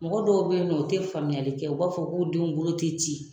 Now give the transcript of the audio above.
Mɔgɔ dɔw bɛ ye nɔ o tɛ faamuyali kɛ u b'a fɔ k'u denw bolo tɛ ci.